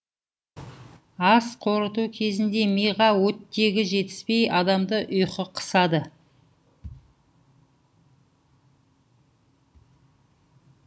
ас қорыту кезінде миға оттегі жетіспей адамды ұйқы қысады